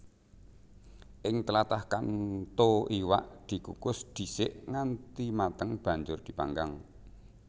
Ing tlatah Kanto iwak dikukus dhisik nganti mateng banjur dipanggang